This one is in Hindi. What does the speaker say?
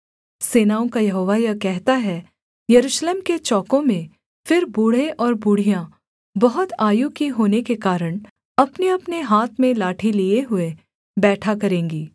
सेनाओं का यहोवा यह कहता है यरूशलेम के चौकों में फिर बूढ़े और बूढ़ियाँ बहुत आयु की होने के कारण अपनेअपने हाथ में लाठी लिए हुए बैठा करेंगी